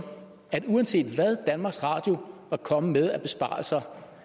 at uanset hvad danmarks radio var kommet med af besparelser